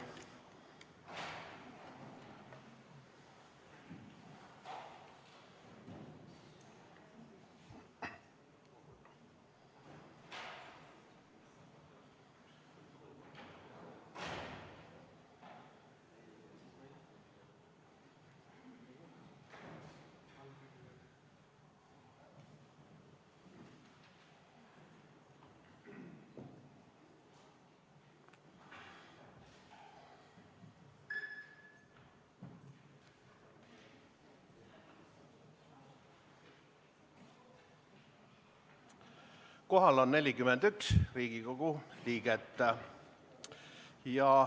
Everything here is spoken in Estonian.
Kohal on 41 Riigikogu liiget.